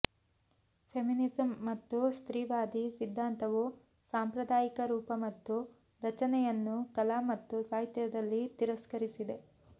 feminism ಮತ್ತು ಸ್ತ್ರೀವಾದಿ ಸಿದ್ಧಾಂತವು ಸಾಂಪ್ರದಾಯಿಕ ರೂಪ ಮತ್ತು ರಚನೆಯನ್ನು ಕಲಾ ಮತ್ತು ಸಾಹಿತ್ಯದಲ್ಲಿ ತಿರಸ್ಕರಿಸಿದೆ